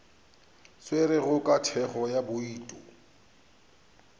tšerwego ka thekgo ya bouto